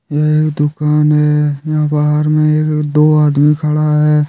यह एक दुकान है यहां बाहर में दो आदमी खड़ा है।